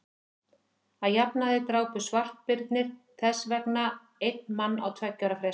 að jafnaði drápu svartbirnir þess vegna einn mann á tveggja ára fresti